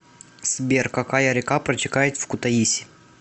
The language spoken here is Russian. сбер какая река протекает в кутаиси